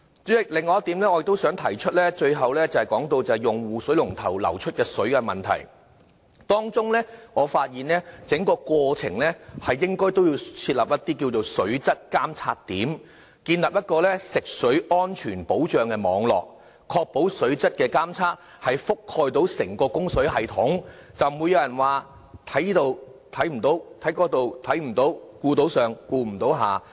代理主席，最後，我想提出另外一點是用戶水龍頭流出的水的問題，當中我發現整個過程應該設立水質監察點，建立食水安全保障網路，確保水質監測覆蓋整個供水系統，這樣才不被人批評說在這裏看不到，在那裏看不到，顧到上顧不了下。